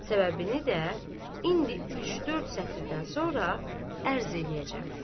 Səbəbini də indi üç-dörd sətirdən sonra ərz eləyəcəm.